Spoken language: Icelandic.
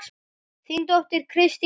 Þín dóttir Kristín Alda.